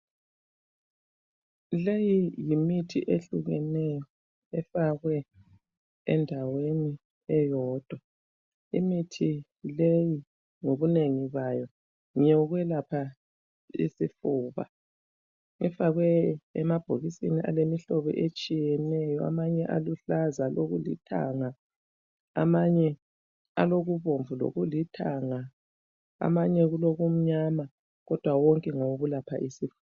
Leyi yimithi ehlukeneyo efakwe endaweni eyodwa, imithi leyi ngobunengi bayo ngeyokwelapha isifuba, ifakwe emabhokisini alemihlobo etshiyeneyo, amanye aluhlaza, alokulithanga, amanye alokubomvu lokulithanga, amanye kulokumnyama, kodwa wonke ngawokulapha isifuba.